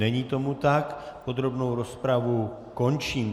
Není tomu tak, podrobnou rozpravu končím.